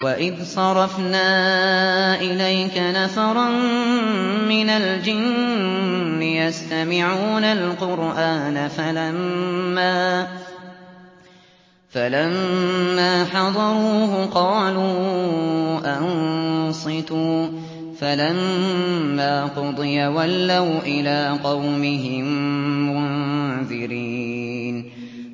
وَإِذْ صَرَفْنَا إِلَيْكَ نَفَرًا مِّنَ الْجِنِّ يَسْتَمِعُونَ الْقُرْآنَ فَلَمَّا حَضَرُوهُ قَالُوا أَنصِتُوا ۖ فَلَمَّا قُضِيَ وَلَّوْا إِلَىٰ قَوْمِهِم مُّنذِرِينَ